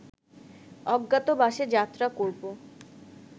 অজ্ঞাতবাসে যাত্রা করব